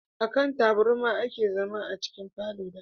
A kan taburma a ke zama a cikin falo da